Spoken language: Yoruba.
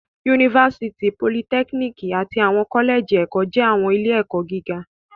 Yunifásítì, politẹ́kíníkì àti àwọn kọ́lẹ́jì ẹ̀kọ́ jẹ́ àwọn ilé-ẹ̀kọ́ gíga.